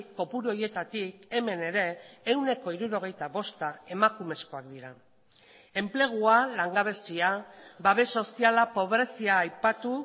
kopuru horietatik hemen ere ehuneko hirurogeita bosta emakumezkoak dira enplegua langabezia babes soziala pobrezia aipatu